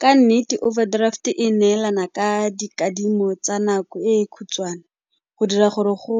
Ka nnete overdraft e neelana ka dikadimo tsa nako e khutshwane go dira gore go